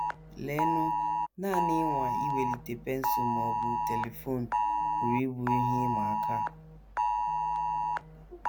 Leenụ, nanị ịnwa iwelite pensụl ma ọ bụ telifon pụrụ ịbụ ihe ịma aka!